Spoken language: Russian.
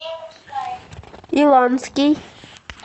иланский